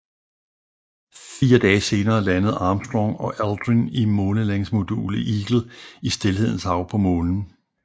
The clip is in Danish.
Fire dage senere landede Armstrong og Aldrin i månelandingsmodulet Eagle i Stilhedens Hav på Månen